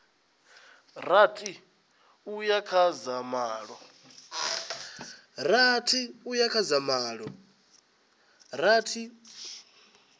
rathi uya kha dza malo